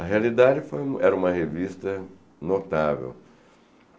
A Realidade foi era uma revista notável.